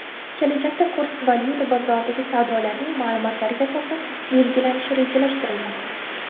Kelajakda kurs valyuta bozoridagi savdolarning ma’lumotlariga asosan belgilanishi rejalashtirilmoqda.